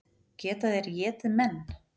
Geta þeir étið menn?